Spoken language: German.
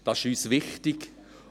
Es ist uns wichtig.